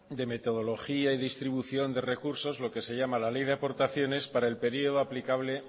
de metodología y distribución de recursos lo que se llama la ley de aportaciones para el periodo aplicable